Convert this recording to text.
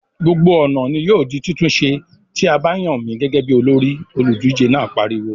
"Gbogbo ọ̀nà ni yóò di títún ṣe, tí a bá yàn mí gẹ́gẹ́ bí olórí!" Olùdíje náà pariwo.